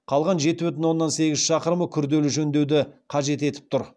қалған жеті бүтін оннан сегіз шақырымы күрделі жөндеуді қажет етіп тұр